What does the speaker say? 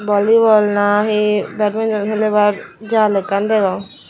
vollyball nahi bedminton helenar jal ekkan degong.